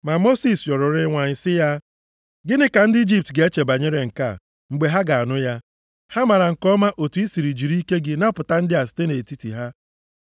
Ma Mosis rịọrọ Onyenwe anyị sị ya, “Gịnị ka ndị Ijipt ga-eche banyere nke a, mgbe ha ga-anụ ya? Ha maara nke ọma otu ị sịrị jiri ike gị napụta ndị a site nʼetiti ha.